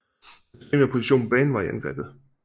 Hans primære position på banen var i angrebet